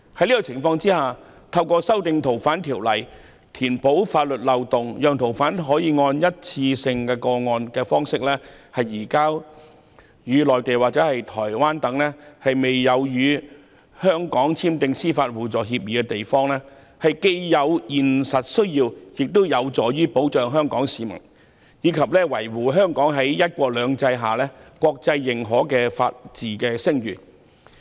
在這種情況下，透過修訂《逃犯條例》填補法律漏洞，以便按單一個案方式移交逃犯到內地或台灣等尚未與香港簽訂司法互助協議的地方，是有現實需要的，亦有助保障香港市民，以及維護香港在"一國兩制"下獲國際認可的法治聲譽。